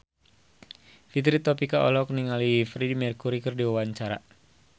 Fitri Tropika olohok ningali Freedie Mercury keur diwawancara